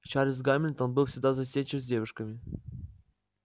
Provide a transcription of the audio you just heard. чарлз гамильтон был всегда застенчив с девушками